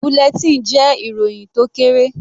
Bulletin jẹ́ ìròhìn tó kéré.